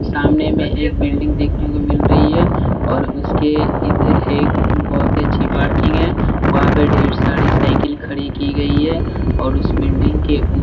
सामने में एक बिल्डिंग देखने को मिल रही है और उसके इधर एक बहुत ही अच्छी पार्किंग है वहाँ पर ढेर सारी साइकिल खड़ी की गई है और उस बिल्डिंग के--